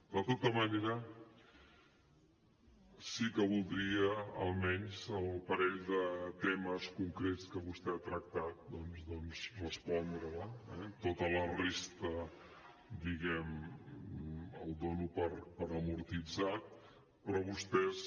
de tota manera sí que voldria almenys sobre el parell de temes concrets que vostè ha tractat doncs respondre li eh tota la resta diguem ne la dono per amortitzada però vostès